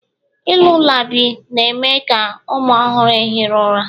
lullabi na-eme ka ụmụ ọhụrụ ehiri ụra